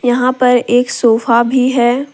यहां पर एक सोफा भी है।